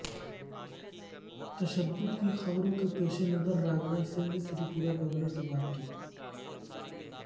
تشدد کی خبروں کے پیش نظر راجناتھ سنگھ نے تریپورہ گورنر سے بات کی